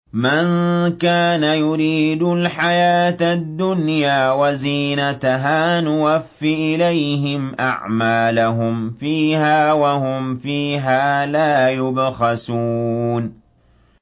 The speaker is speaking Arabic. مَن كَانَ يُرِيدُ الْحَيَاةَ الدُّنْيَا وَزِينَتَهَا نُوَفِّ إِلَيْهِمْ أَعْمَالَهُمْ فِيهَا وَهُمْ فِيهَا لَا يُبْخَسُونَ